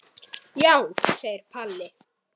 Já, segir Palli.